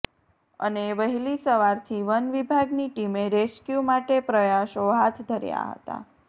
અને વહેલી સવારથી વન વિભાગની ટીમે રેસ્કયૂ માટે પ્રયાસો હાથ ધર્યા હતા